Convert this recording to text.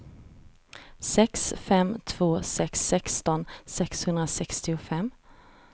sex fem två sex sexton sexhundrasextiofem